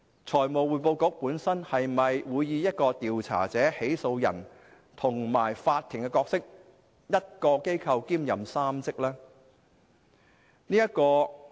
財務匯報局會否擔當調查者、起訴人和法庭的角色，即1個機構兼任3職？